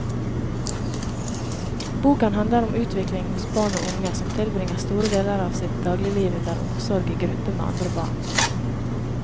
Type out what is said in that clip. Boken handler om utvikling hos barn og unge som tilbringer store deler av sitt dagligliv under omsorg i gruppe med andre barn.